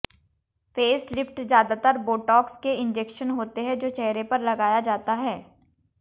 face lift ज़्यादातर Botox के injection होते हैं जो चेहरे पर लगाया जाता है